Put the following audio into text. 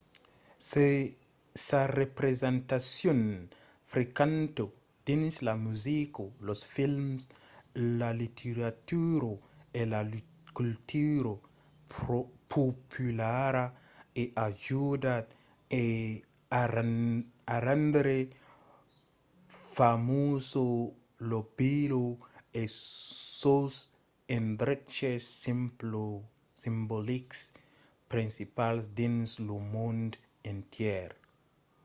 sa representacion frequenta dins la musica los films la literatura e la cultura populara a ajudat a rendre famosa la vila e sos endreches simbolics principals dins lo mond entièr